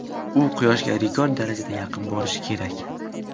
U Quyoshga rekord darajada yaqin borishi kerak.